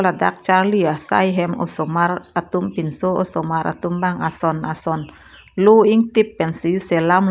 ladak charli asai ahem osomar atum pinso osomar atum bang ason ason loh ingtip pensi selam.